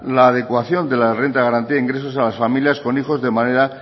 la adecuación de la renta de garantía de ingresos a las familias con hijos de manera